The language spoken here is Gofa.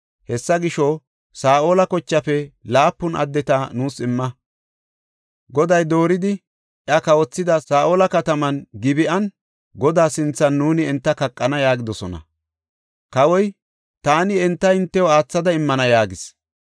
Hessa gisho, Saa7ola kochaafe laapun addeta nuus imma. Goday dooridi iya kawothida Saa7ola kataman, Gib7an, Godaa sinthan nuuni enta kaqana” yaagidosona. Kawoy, “Taani enta hintew aathada immana” yaagis.